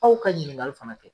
Aw ka ɲinikali fana kɛ